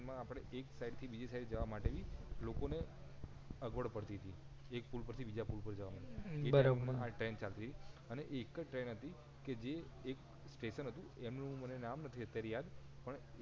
એમાં આપડે એક સાઇડ થી બીજી સાઈડ જવા માટેભી લોકો ને અઘવળ પડતી તી એક પુલ પર થી બીજા પુલ પર જવા માટે એ પ્રમાણે ટ્રેન ચાલતી હતી અને એક જ ટ્રેન હતી કે જે એક સ્ટેશન હતું એનું માંને નામ નથી અત્યારે યાદ